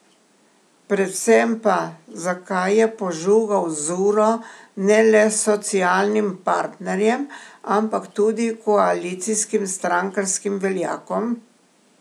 Predvsem pa, zakaj je požugal z uro ne le socialnim partnerjem, ampak tudi koalicijskim strankarskim veljakom?